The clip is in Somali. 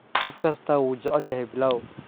Qof kastaa wuu jecel yahay pilau.